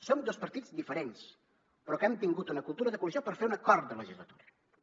som dos partits diferents però que hem tingut una cultura de coalició per fer un acord de legislatura per tirar endavant